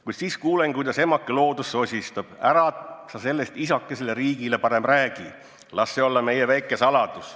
Kuid siis kuulen, kuidas emake Loodus sosistab: ära sa sellest isakesele Riigile parem räägi, las see olla meie väike saladus.